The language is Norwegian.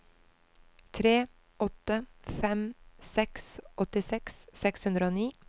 tre åtte fem seks åttiseks seks hundre og ni